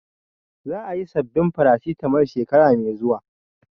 Za a yi sabbin Farasitamol shekara mai zuwa